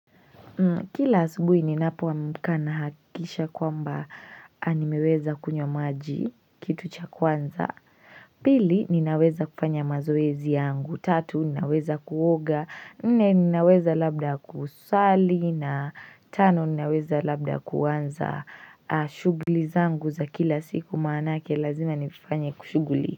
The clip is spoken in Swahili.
Kila asubuhi ninapoamka nahakisha kwamba nimeweza kunywa maji kitu cha kwanza Pili ninaweza kufanya mazoezi yangu tatu ninaweza kuoga nne ninaweza labda kusali na tano ninaweza labda kuanza shuguli zangu za kila siku maanake lazima nifanye kushuguli.